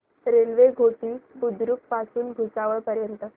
railway Ghoti Budruk पासून भुसावळ पर्यंत